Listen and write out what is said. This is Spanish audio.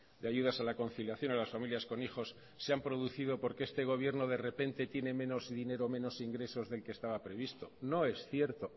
de ayudas a la conciliación a las familias con hijos se han producido porque este gobierno de repente tiene menos dinero o menos ingresos del que estaba previsto no es cierto